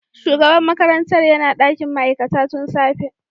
Shugaban makarantar yana dakin ma'aikata tun safe.